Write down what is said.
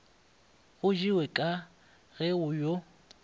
go jewe ka ge yo